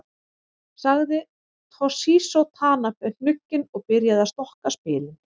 Sagði Toshizo Tanabe hnugginn og byrjaði að stokka spilin.